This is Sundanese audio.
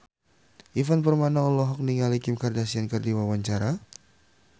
Ivan Permana olohok ningali Kim Kardashian keur diwawancara